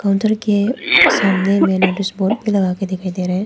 Border के सामने में नोटिस बोर्ड भी लगा के दिखाई दे रहे हैं।